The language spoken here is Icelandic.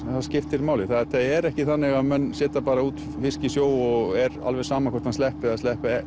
að skiptir máli þetta er ekki þannig að menn setja bara út fisk í sjó og er alveg sama hvort hann sleppi eða sleppi